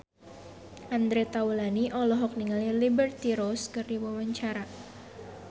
Andre Taulany olohok ningali Liberty Ross keur diwawancara